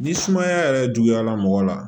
Ni sumaya yɛrɛ juguyara mɔgɔ la